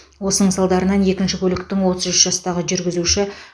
осының салдарынан екінші көліктің отыз үш жастағы жүргізуші